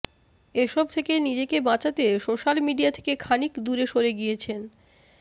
এসব থেকে নিজেকে বাঁচাতে সোশ্যাল মিডিয়া থেকে খানিক দূরে সরে গিয়েছেন